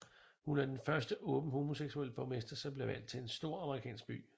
Hun er den første åbent homoseksuelle borgmester som blev valgt til en stor amerikansk by